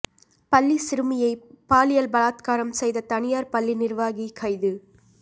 பள்ளி சிறுமியை பாலியல் பலாத்காரம் செய்த தனியார் பள்ளி நிர்வாகி கைது